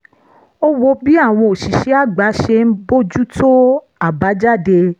ó wo bí àwọn òṣìṣẹ́ àgbà ṣe ń bójú tó àbájáde